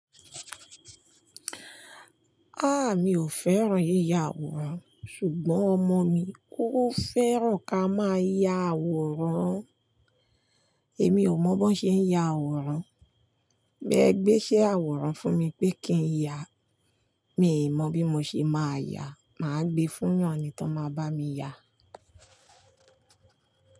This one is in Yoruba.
Ah! Mi ò fẹ́ràn yíya àwòrán ṣùgbọ́n ọmọ mi, ó fẹ́ràn ká máa ya àwòrán. Èmi ò mọ̀ bó ṣe ń ya àwòrán. Bẹ gbéṣe àwòrán fún mi pé kí n ya, mi i mọ bí mo ṣe máa yá, màá gbe fúnyàn ní tón máa bá mi yá.